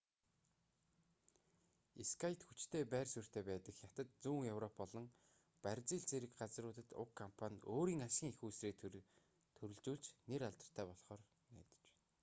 скайт хүчтэй байр суурьтай байдаг хятад зүүн европ болон бразил зэрэг газруудад уг компани өөрийн ашгийн эх үүсвэрээ төрөлжүүлж нэр алдартай болхоор найдаж байна